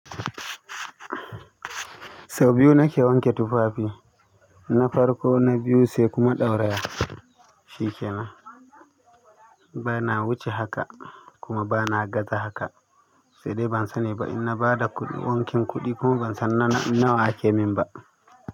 Sau biyu nake wanke tufafi, na farko na biyu sai kuma ɗauraye. Shikenan. Bana wuce haka kuma bana gaza haka, sai dai ban sani ba in na ba da kuɗin wankin kuɗi kuma ban san nawa ake min ba.